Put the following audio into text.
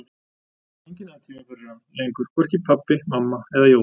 Enginn hafði tíma fyrir hann lengur, hvorki pabbi, mamma eða Jói.